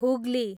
Hooghly